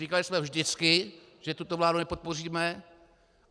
Říkali jsme vždycky, že tuto vládu nepodpoříme.